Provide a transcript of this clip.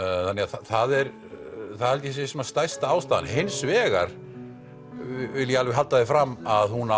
það er stærsta ástæðan hins vegar vil ég alveg halda því fram á hún